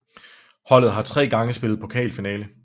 Holdet har tre gange spillet pokalfinale